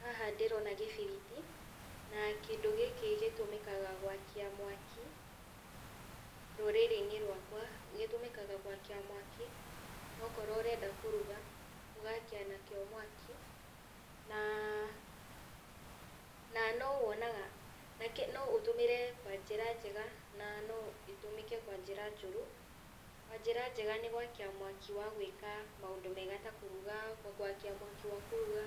Haha ndĩrona gĩbiriti, na kĩndũ gĩkĩ gĩtũmĩkaga gwakia mwaki, rũrirĩinĩ rwakwa, gĩtũmĩkaga gwakia mwaki, na okorwo ũrenda kũruga, ũgakia nakĩo mwaki, na no wonaga no ũtũmĩre kwanjĩra njega, na no gĩtũmĩke kwa njĩra njũru, kwa njĩra njega nĩ gwakia mwaki wa gwĩka maũndũ mega ta kũruga, gwakia mwaki wakũruga,